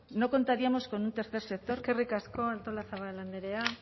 no contaríamos con tercer sector eskerrik asko artolazabal andrea